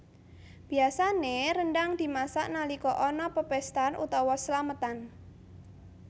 Biasané rendhang dimasak nalika ana pepéstan utawa slametan